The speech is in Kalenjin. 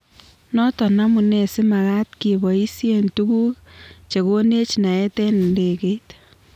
"Noto amunee si makaat keboisie tuguk che konech naet eng ndekeit .